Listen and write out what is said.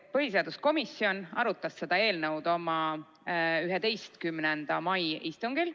Põhiseaduskomisjon arutas seda eelnõu oma 11. mai istungil.